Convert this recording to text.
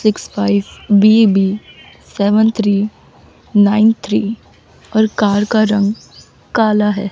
Six five B B seven three nine three और car का रंग काला है।